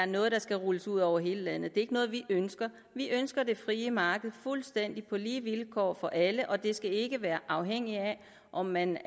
noget der skal rulles ud over hele landet det er ikke noget vi ønsker vi ønsker det frie marked fuldstændig lige vilkår for alle og det skal ikke være afhængig af om man